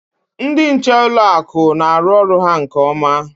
Ndị nche n'ụlọ akụ na-arụ ọrụ ha nke ọma.